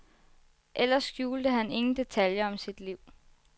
Ellers skjulte han ingen detaljer om sit liv.